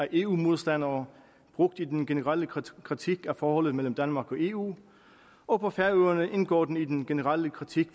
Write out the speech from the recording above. eu modstandere brugt i den generelle kritik af forholdet mellem danmark og eu og på færøerne indgår den i den generelle kritik